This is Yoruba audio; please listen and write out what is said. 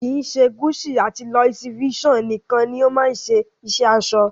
Kii ṣe Gucci àti Louis Vuitton nikan ni o ma se iṣẹ aṣọ.